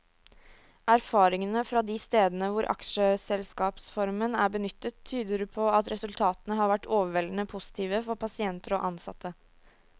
Erfaringene fra de stedene hvor aksjeselskapsformen er benyttet, tyder på at resultatene har vært overveldende positive for pasienter og ansatte.